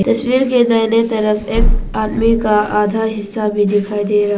तस्वीर के दाहिने तरफ एक आदमी का आधा हिस्सा भी दिखाई दे रहा--